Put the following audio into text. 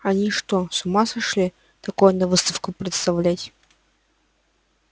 они что с ума сошли такое на выставку представлять